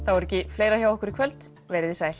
er ekki fleira hjá okkur í kvöld veriði sæl